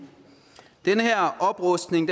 den her oprustning